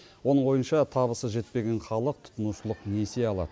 оның ойынша табысы жетпеген халық тұтынушылық несие алады